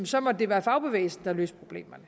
så må det være fagbevægelsen der løser problemerne